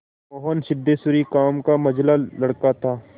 मोहन सिद्धेश्वरी का मंझला लड़का था